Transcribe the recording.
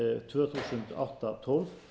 tvö þúsund átta tólf